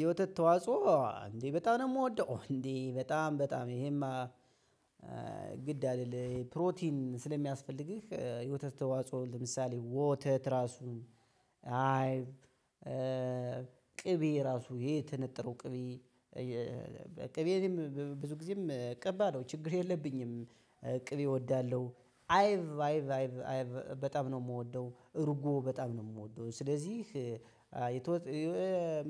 የወተት ተዋጽኦ። እንዴ በጣም ነው ምወደው እንዴ በጣም በጣም ይሄማ ግድ አይደል? ፕሮቲን ስለሚያስፈልግህ የወተት ተዋጽኦ ለምሳሌ ወተት ራሱ አይብ ቅቤ ራሱ ይሄ የተነጠረው ቅቤ ቅቤ ብዙ ጊዜም ቀባለው ችግር የለብኝም። ቅቤ እወዳለሁ አይብ አይብ አይብ በጣም ነው ምወደው። እርጎ በጣም ነው የምወደው። ስለዚህ